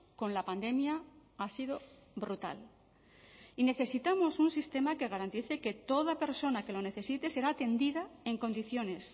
con la pandemia ha sido brutal y necesitamos un sistema que garantice que toda persona que lo necesite será atendida en condiciones